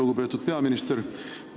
Lugupeetud peaminister!